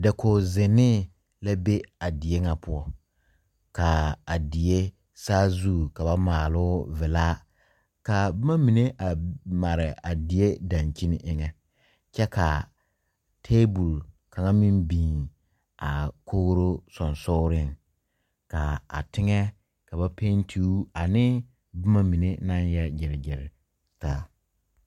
Dakogi zenne la be a die kyɛ poɔ kyɛ kaa a die saa zu ka ba maalo vila ka boma mine a mare a die dankyini eŋa kyɛ ka tabol kaŋa meŋ biŋ a kogri soge sogle kaa a teŋa ka ba penti o ane boma mine naŋ yɛ gire gire taa.